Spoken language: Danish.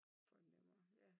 Fornemmer ja